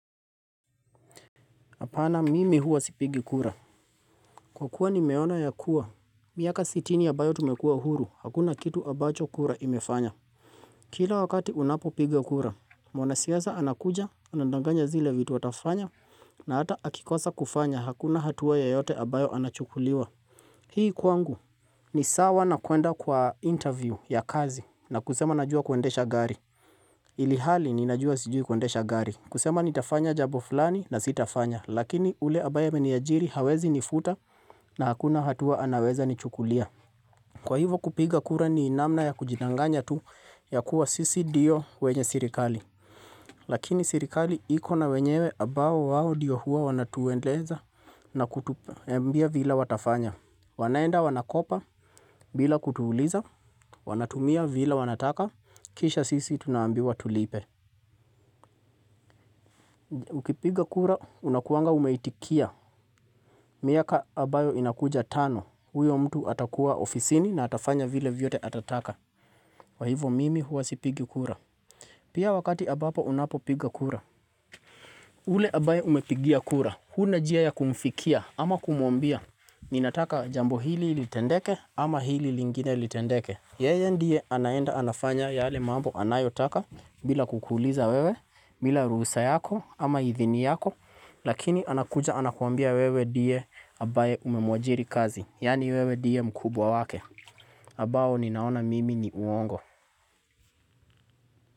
Apana mimi huwa sipigi kura. Kwa kuwa nimeona ya kuwa. Miaka sitini ambayo tumekua huru. Hakuna kitu ambacho kura imefanya. Kila wakati unapopiga kura. Mwana siasa anakuja, anandanganya zile vitu atafanya, na hata akikosa kufanya. Hakuna hatua yoyote ambayo anachukuliwa. Hii kwangu. Ni sawa na kuenda kwa interview ya kazi na kusema najua kuendesha gari. Ilihali ninajua sijui kuendesha gari. Kusema nitafanya jambo fulani na sitafanya, lakini ule ambaye ameniajiri hawezi nifuta na hakuna hatua anaweza ni chukulia. Kwa hivo kupiga kura ni namna ya kujindanganya tu ya kuwa sisi dio wenye sirikali. Lakini sirikali ikona wenyewe ambao wao ndio hua wanatueleza na kutuambia vile watafanya. Wanaenda wanakopa bila kutuuliza, wanatumia vile wanataka, kisha sisi tunaambiwa tulipe. Ukipiga kura unakuanga umeitikia miaka ambayo inakuja tano huyo mtu atakuwa ofisini na atafanya vile vyote atataka kwa hivo mimi huwa sipigi kura Pia wakati ambapo unapopiga kura ule ambaye umepigia kura huna njia ya kumfikia ama kumwambia Ninataka jambo hili litendeke ama hili lingine litendeke Yeye ndiye anaenda anafanya yale mambo anayotaka bila kukuliza wewe bila ruhusa yako ama hidhini yako Lakini anakuja anakuambia wewe ndie ambaye umemwajiri kazi yani wewe ndie mkubwa wake ambao ninaona mimi ni uongo.